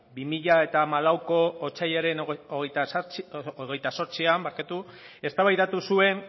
bi mila hamalauko otsailaren hogeita zortzian eztabaidatu zuen